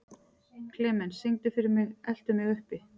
Klemens, syngdu fyrir mig „Eltu mig uppi“.